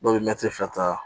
Dɔw bɛ mɛtiri fila ta